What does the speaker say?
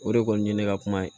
O de kɔni ye ne ka kuma ye